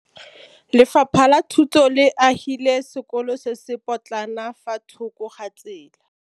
Lefapha la Thuto le agile sekôlô se se pôtlana fa thoko ga tsela.